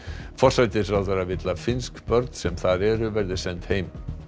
forsætisráðherrann vill að finnsk börn sem þar eru verði send heim